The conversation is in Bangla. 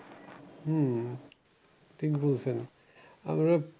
হম ঠিক বলছেন আপনার